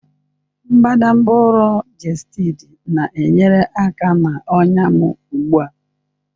Mbadamba ụrọ Gestid na-enyere aka na ọnya m ugbu a.